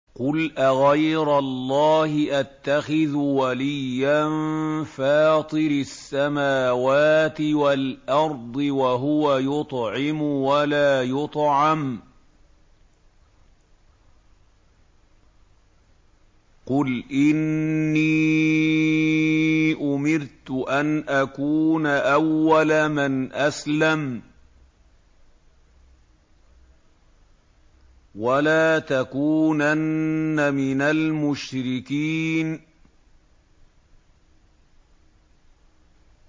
قُلْ أَغَيْرَ اللَّهِ أَتَّخِذُ وَلِيًّا فَاطِرِ السَّمَاوَاتِ وَالْأَرْضِ وَهُوَ يُطْعِمُ وَلَا يُطْعَمُ ۗ قُلْ إِنِّي أُمِرْتُ أَنْ أَكُونَ أَوَّلَ مَنْ أَسْلَمَ ۖ وَلَا تَكُونَنَّ مِنَ الْمُشْرِكِينَ